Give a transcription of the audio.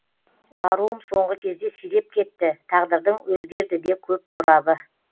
баруым соңғы кезде сиреп кетті тағдырдың өзгерді де көп торабы